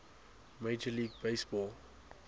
major league baseball